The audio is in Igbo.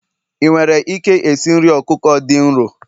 ị nwere ike esi nri ọkụkọ dị nro?